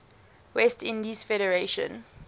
west indies federation